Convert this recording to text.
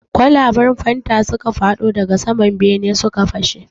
Kwalaban fanta suka fadon daga sama bene suka fashe.